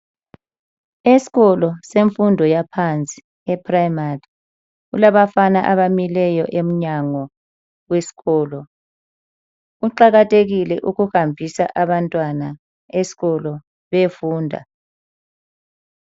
Esikolo semfundo yaphansi e-Primary. Kulabafana abamileyo emnyango wesikolo. Kuqakathekile ukuhambisa abantwana esikolo bayefunda.